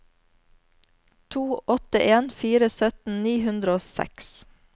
to åtte en fire sytten ni hundre og seks